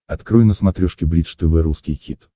открой на смотрешке бридж тв русский хит